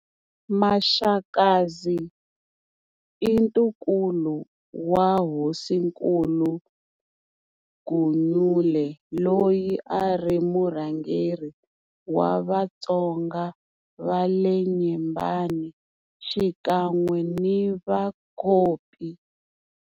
Maxakadzi i ntukulu wa Hosinkulu Gunyule loyi a ri murhangeri wa vaTonga va le Nyembani xikan'we ni Vacopi.